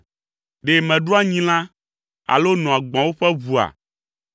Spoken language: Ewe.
Ɖe meɖua nyilã alo noa gbɔ̃wo ƒe ʋua?